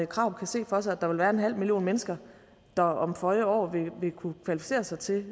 krarup kan se for sig at der vil være en halv million mennesker der om føje år vil kunne kvalificere sig til